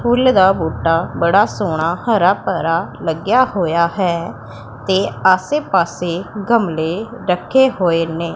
ਫੁੱਲ ਦਾ ਬੂਟਾ ਬੜਾ ਸੋਹਣਾ ਹਰਾ ਭਰਾ ਲੱਗਿਆ ਹੋਇਆ ਹੈ ਤੇ ਆਸੇ ਪਾੱਸੇ ਗਮਲੇ ਰੱਖੇ ਹੋਏ ਨੇ।